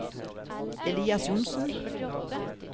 Elias Johnsen